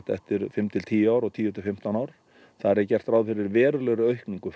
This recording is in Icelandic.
eftir fimm til tíu ár og tíu til fimmtán ár þar er gert ráð fyrir verulegri aukningu